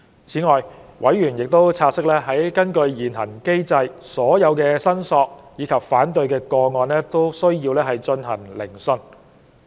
此外，委員察悉，根據現行機制，所有申索及反對個案均須進行聆訊。